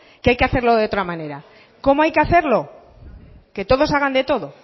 que hay que hacerlo de otra manera cómo hay que hacerlo que todos hagan de todo